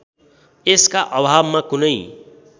यसका अभावमा कुनै